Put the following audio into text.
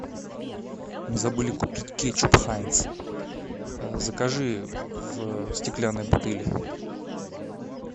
мы забыли купить кетчуп хайнс закажи в стеклянной бутыле